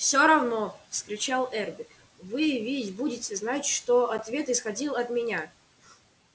все равно вскричал эрби вы ведь будете знать что ответ исходил от меня